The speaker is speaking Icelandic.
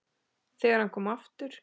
ÞEGAR HANN KOM AFTUR